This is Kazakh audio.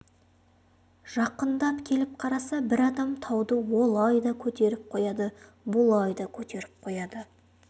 жақындап келіп қараса бір адам тауды олай да көтеріп қояды бұлай да көтеріп қояды